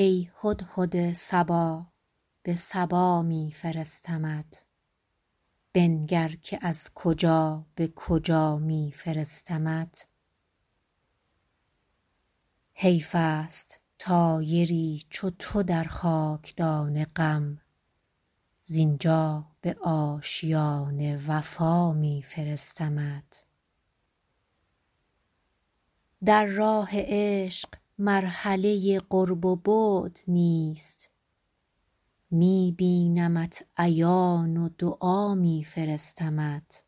ای هدهد صبا به سبا می فرستمت بنگر که از کجا به کجا می فرستمت حیف است طایری چو تو در خاک دان غم زین جا به آشیان وفا می فرستمت در راه عشق مرحله قرب و بعد نیست می بینمت عیان و دعا می فرستمت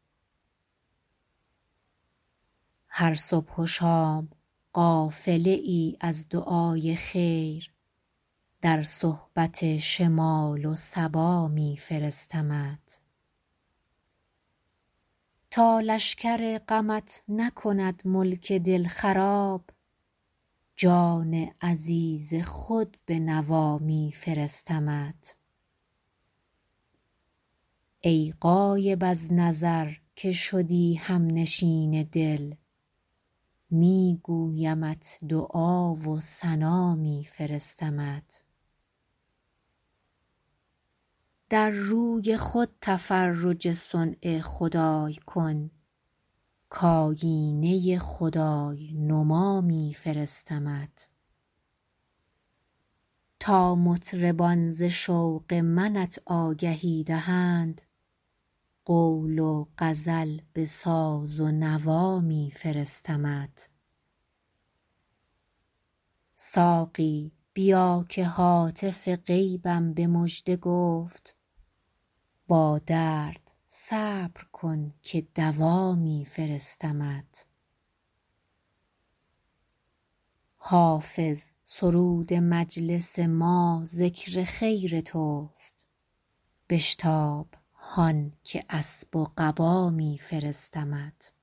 هر صبح و شام قافله ای از دعای خیر در صحبت شمال و صبا می فرستمت تا لشکر غمت نکند ملک دل خراب جان عزیز خود به نوا می فرستمت ای غایب از نظر که شدی هم نشین دل می گویمت دعا و ثنا می فرستمت در روی خود تفرج صنع خدای کن کآیینه خدای نما می فرستمت تا مطربان ز شوق منت آگهی دهند قول و غزل به ساز و نوا می فرستمت ساقی بیا که هاتف غیبم به مژده گفت با درد صبر کن که دوا می فرستمت حافظ سرود مجلس ما ذکر خیر توست بشتاب هان که اسب و قبا می فرستمت